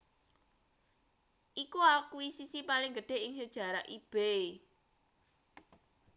iku akuisisi paling gedhe ing sejarahe ebay